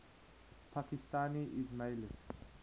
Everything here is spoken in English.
pakistani ismailis